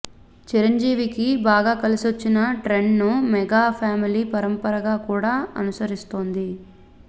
చిరంజీవికి బాగా కలిసొచ్చిన ట్రెండ్నే మెగా ఫ్యామిలీ పరంపర కూడా అనుసరిస్తోంది